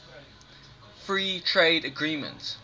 free trade agreement